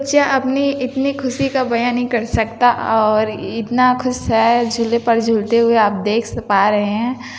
बच्चा अपनी इतनी ख़ुशी का बया नही कर सकता और इनता खुश है झूले पर झूलते हुए आप देख स पा रहे है।